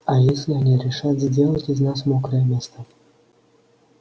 а если они решат сделать из нас мокрое место